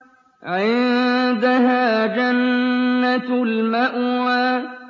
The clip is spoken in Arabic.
عِندَهَا جَنَّةُ الْمَأْوَىٰ